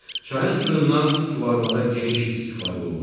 Çayın suyundan su varmada geniş istifadə olunur.